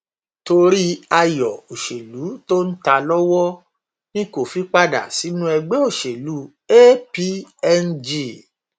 torí ayọ òṣèlú tó ń ta lọwọ ni kò fi padà sínú ẹgbẹ òṣèlú apng